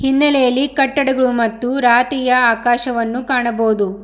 ಹಿನ್ನೆಲೆಯಲ್ಲಿ ಕಟ್ಟಡಗಳು ಮತ್ತು ರಾತಿಯ ಆಕಾಶವನ್ನು ಕಾಣಬಹುದು.